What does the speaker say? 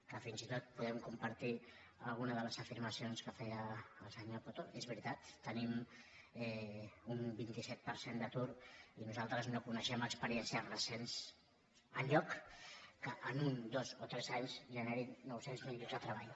que fins i tot podem compartir alguna de les afirmacions que feia el senyor coto és veritat tenim un vint set per cent d’atur i nosaltres no co·neixem experiències recents enlloc que en un dos o tres anys generin nou cents miler llocs de treball